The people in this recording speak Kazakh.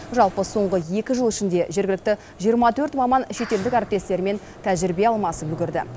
жалпы соңғы екі жыл ішінде жергілікті жиырма төрт маман шетелдік әріптестерімен тәжірибе алмасып үлгерді